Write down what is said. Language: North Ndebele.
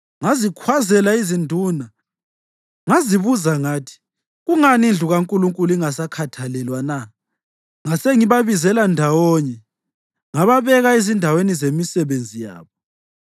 Ngazikhwazela izinduna ngazibuza ngathi, “Kungani indlu kaNkulunkulu ingasakhathalelwa na?” Ngasengibabizela ndawonye ngababeka ezindaweni zemisebenzi yabo.